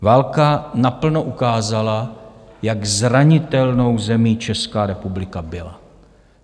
Válka naplno ukázala, jak zranitelnou zemí Česká republika byla.